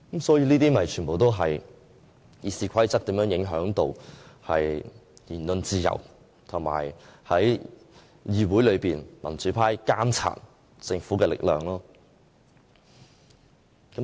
這些全部都是《議事規則》如何影響言論自由和議會內民主派監察政府的力量的例子。